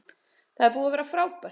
Það er búið að vera frábært